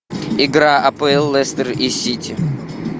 игра апл лестер и сити